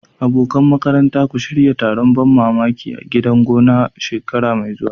Abokan makaranta, ku shirya taron ban mamaki a gidan gona shekara mai zuwa.